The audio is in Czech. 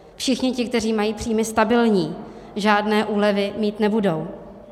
Všichni ti, kteří mají příjmy stabilní, žádné úlevy mít nebudou.